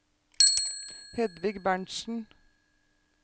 Hedvig Berntsen